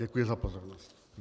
Děkuji za pozornost.